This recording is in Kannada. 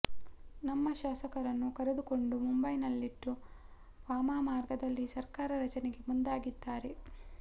ನಮ್ಮ ಶಾಸಕರನ್ನು ಕರೆದುಕೊಂಡು ಮುಂಬೈನಲ್ಲಿಟ್ಟು ವಾಮ ಮಾರ್ಗದಲ್ಲಿ ಸರ್ಕಾರ ರಚನೆಗೆ ಮುಂದಾಗಿದ್ದಾರೆ